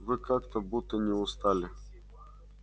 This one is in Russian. вы как-то будто не устали